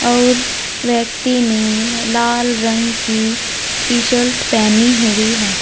और व्यक्ति ने लाल रंग की टी शर्ट पेहनी हुई है।